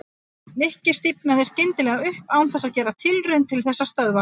Nikki stífnaði skyndilega upp án þess að gera tilraun til þess að stöðva hana.